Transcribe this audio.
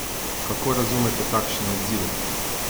Kako razumete takšen odziv?